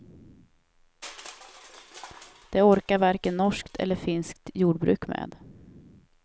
Det orkar varken norskt eller finskt jordbruk med.